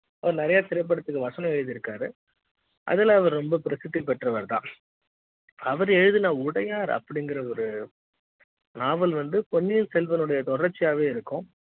அவரு நிறைய திரைப்படத்திற்கு வசனம் எழுதி இருக்காரு அதுல அவரு ரொம்ப பிரசித்தி பெற்றவர் தான் அவர் எழுதிய உடையார் அப்படிங்கற ஒரு நாவல் வந்து பொன்னியின் செல்வனுடைய தொடர்ச்சியாக இருக்கும்